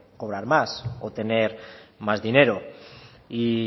cobrar más o tener más dinero y